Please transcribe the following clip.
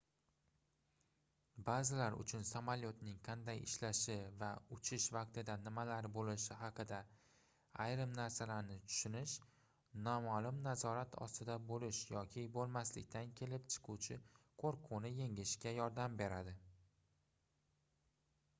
baʼzilar uchun samolyotning qanday ishlashi va uchish vaqtida nimalar boʻlishi haqida ayrim narsalarni tushinish nomaʼlum nazorat ostida boʻlish yoki boʻlmaslikdan kelib chiquvchi qoʻrquvni yengishga yordam beradi